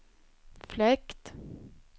fläkt